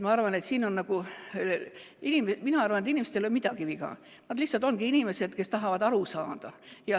Ma arvan, et inimestel ei ole midagi viga, nad lihtsalt ongi inimesed, kes tahavad aru saada.